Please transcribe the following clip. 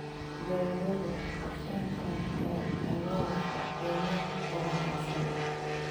Beeraleydu waxay qorsheyn karaan xeelado suuqgeyneed oo wanaagsan.